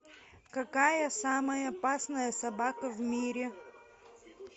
какая самая опасная собака в мире